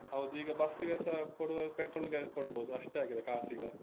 ಹೌದು, ಈಗ ಬಸ್ಸಿಗೆಸ ಕೊಡುವಾಗ petrol ಗೆ ಕೊಡ್ಬೋದು ಅಷ್ಟಾಗಿದೆ ಕಾಸೀಗ.